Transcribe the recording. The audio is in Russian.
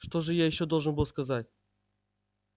что же ещё я должен был сказать